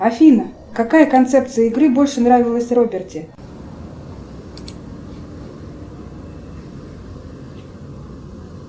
афина какая концепция игры больше нравилась роберти